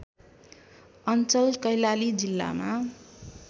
अञ्चल कैलाली जिल्लामा